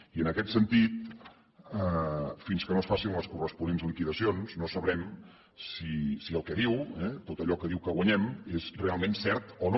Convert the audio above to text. i en aquest sentit fins que no es facin les corresponents liquidacions no sabrem si el que diu tot allò que diu que guanyem és realment cert o no